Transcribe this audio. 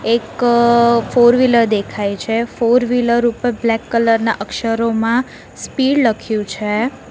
એક four wheeler દેખાય છે ફોર વીલર ઉપર બ્લેક કલરના અક્ષરોમાં સ્પીડ લખ્યું છે.